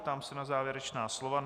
Ptám se na závěrečná slova.